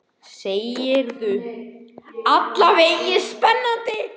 Sigurður: Alla vega spennandi?